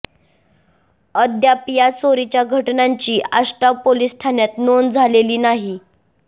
अद्याप या चोरीच्या घटनांची आष्टा पोलिस ठाण्यात नोंद झालेली नाही